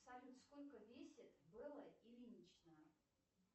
салют сколько весит белла ильинична